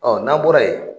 Ɔ n'an bɔra yen